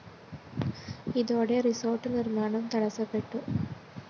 ഇതോടെ റിസോര്‍ട്ട് നിര്‍മ്മാണം തടസപ്പെട്ടു